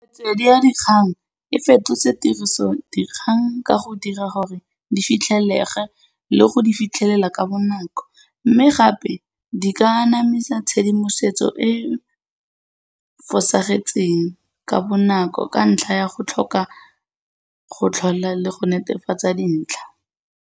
Metswedi ya dikgang e fetotse tiriso dikgang ka go dira gore di fitlhelege le go di fitlhelela ka bonako, mme gape di ka emisa tshedimosetso e e fosagetseng ka bonako ka ntlha ya go tlhoka go tlhola le go netefatsa dintlha.